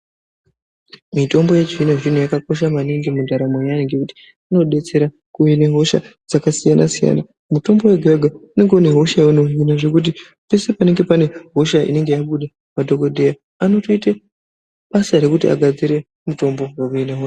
Mitombo yechizvinozvino yakakosha maningi mundaramo yayo nekuti unodetsera kuhina hosha, dzakasiyana siyana mutombo wega wega unenge une hosha yayo yeunohina zvekuti peshe panenge pane hosha inenge yabuda madhokoteya anotoita basa rekuti agadzire mutombo wekuti ahine hosha.